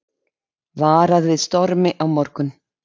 Varað við stormi á morgun